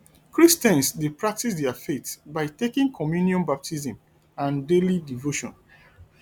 christians dey practice their faith by taking communion baptism and daily devotion